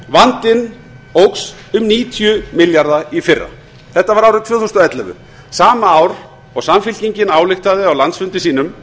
vandinn óx um níutíu milljarða í fyrra þetta var árið tvö þúsund og ellefu sama ár og samfylkingin ályktaði á landsfundi sínum